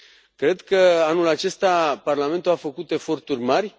Cred că anul acesta Parlamentul a făcut eforturi mari.